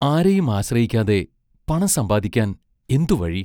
ആരെയും ആശ്രയിക്കാതെ പണം സമ്പാദിക്കാൻ എന്തു വഴി?